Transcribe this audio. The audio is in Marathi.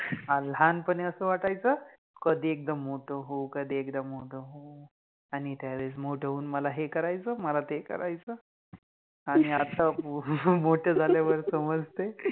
लहानपणी अस वाटायच कधी एकदा मोठे होउ, कधी एकदा मोठे होऊ आणि त्यावेळेस मोठ होउन मला हे करायच, मला ते करायच, आणि आता मोठ झाल्यावर समजते.